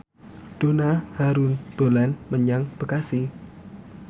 Donna Harun dolan menyang Bekasi